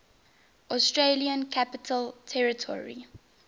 australian capital territory